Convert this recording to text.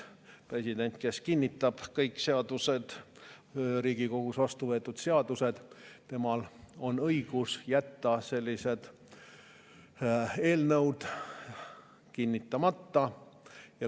President kinnitab kõik Riigikogus vastuvõetud seadused, temal on õigus jätta sellised kinnitamata.